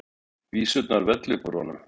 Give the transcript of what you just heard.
Vísurnar vella upp úr honum.